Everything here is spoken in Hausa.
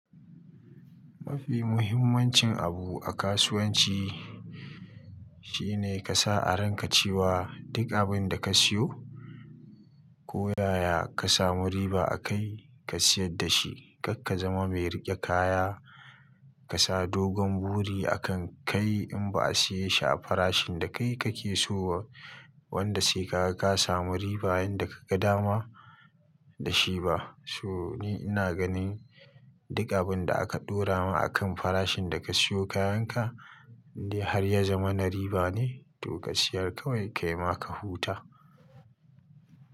Mafi muhimmancin abu a kasuwanci shi ne ka sa a ranka cewa duk abin da ka siyo ko yaya ka samu riba a kai, ka siyar da shi. Karka zama mai riƙe kaya ka sa dogon buri a kan kai in ba a siye shi a farashin da kai kake so ba wanda sai ka ga ka samu riba inda ka ga dama da shi ba. So ni ina ganin duk abun da aka ɗora ma a kan farashin da ka siyo kayan ka in dai har ya zamana riba ne to ka siyar kawai kai ma ka huta.